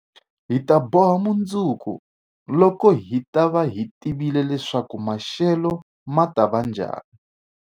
Hi ta boha mundzuku, loko hi ta va hi tivile leswaku maxelo ma ta va njhani.